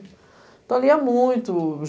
Então, ali é muito.